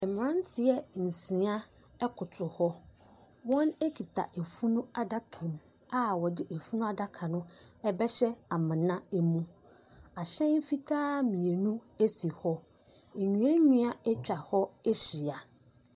Mmeranteɛ nsia koto hɔ. Wɔkuta funu adakam a wɔde funu adaka no rebɛhyɛ amena mu. Ahyɛn fitaa mmienu si hɔ. Nnuannua atwa hɔ ahyia.